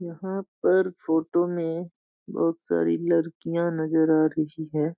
यहाँ पर फ़ोटो में बहुत सारी लड़कियां नजर आ रही है।